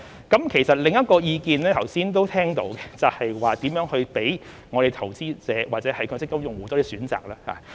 剛才都聽到另一個意見，就是如何讓投資者或強積金用戶有多些選擇。